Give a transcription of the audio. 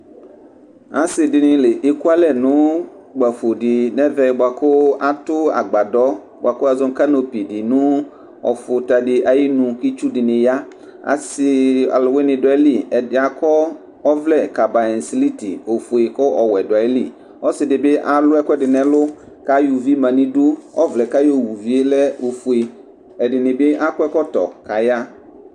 Assɩdinɩ l 'ekualɛ n'ʊkpafo di n'evɛ buakʊ atʊ agbadɔ buaku wazɔ nʊ kanopi nu ɔfʊtadi ayinu itsu dɩnɩ ya, assi aluwini du ayili ,edɩ akɔ ɔvlɛ kabayɛsiliti ofue kɔ owuɛ du ayili ɔssɩdibɩ alʊ ɛkuedi n'ɛlʊ kay'uvi manidʊ ɔvlɛ kawu'uvie lɛ ofue ,Ɛdinɩbi ak'ɛkotɔ kaya